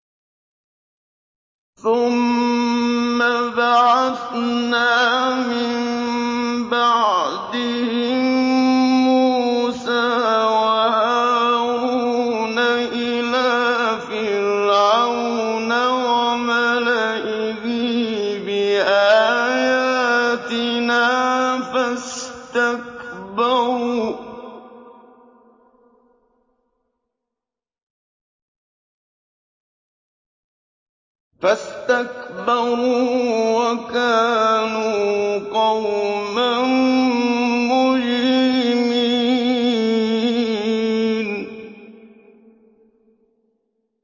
ثُمَّ بَعَثْنَا مِن بَعْدِهِم مُّوسَىٰ وَهَارُونَ إِلَىٰ فِرْعَوْنَ وَمَلَئِهِ بِآيَاتِنَا فَاسْتَكْبَرُوا وَكَانُوا قَوْمًا مُّجْرِمِينَ